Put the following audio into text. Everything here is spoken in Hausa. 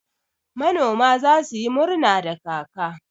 Manoma za su yi murna da kaka